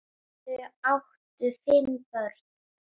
Þau áttu fimm börn.